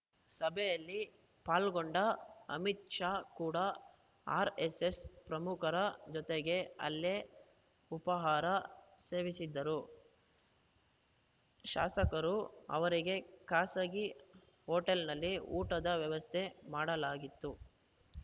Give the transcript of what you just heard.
ಸಭೆಯಲ್ಲಿ ಪಾಲ್ಗೊಂಡ ಅಮಿತ್‌ ಶಾ ಕೂಡ ಆರ್‌ಎಸ್‌ಎಸ್‌ ಪ್ರಮುಖರ ಜೊತೆಗೆ ಅಲ್ಲೇ ಉಪಹಾರ ಸೇವಿಸಿದರು ಶಾಸಕರ ಅವರಿಗೆ ಖಾಸಗಿ ಹೊಟೇಲ್‌ನಲ್ಲಿ ಊಟದ ವ್ಯವಸ್ಥೆ ಮಾಡಲಾಗಿತ್ತು